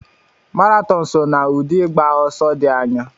Maraton so na ụdị ịgba ọsọ dị anya.